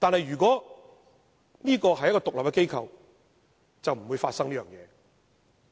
如果它是一個獨立機構，便不會發生這種問題。